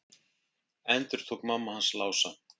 endurtók mamma hans Lása.